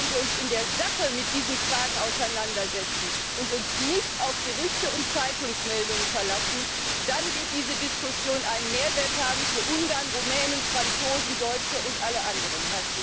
Wenn wir uns in der Sache mit diesen Fragen auseinandersetzen und uns nicht auf Gerüchte und Zeitungsmeldungen verlassen, dann wird diese Diskussion einen Mehrwert haben für Ungarn, Rumänen, Franzosen, Deutsche und alle anderen.